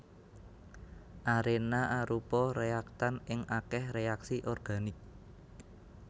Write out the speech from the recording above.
Arena arupa réaktan ing akèh reaksi organik